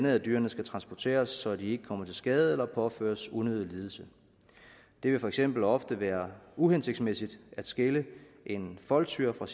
at dyrene skal transporteres så de ikke kommer til skade eller påføres unødig lidelse det vil for eksempel ofte være uhensigtsmæssigt at skille en foldtyr fra